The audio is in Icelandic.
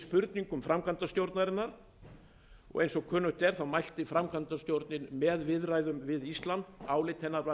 spurningum framkvæmdastjórnarinnar eins og kunnugt er mælti framkvæmdastjórnin með viðræðum við ísland álit hennar var mjög